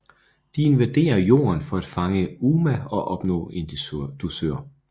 De invaderer Jorden for at fange UMA og opnå en dusør